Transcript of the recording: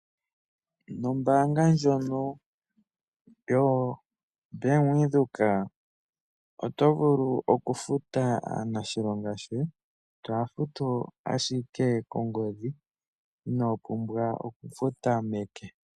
Nombaanga ndjono yoBank Windhoek, oto vulu okufuta aanilonga yoye, toya futu ashike kongodhi, inoo pumwa okuya futa meke.